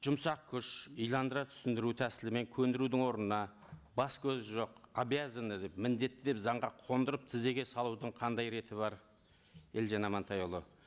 жұмсақ күш иландыра түсіндіру тәсілімен көндірудің орнына бас көз жоқ обязаны деп міндетті деп заңға қондырып тізеге салудың қандай реті бар елжан амантайұлы